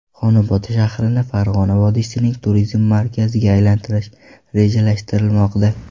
Xonobod shahrini Farg‘ona vodiysining turizm markaziga aylantirish rejalashtirilmoqda.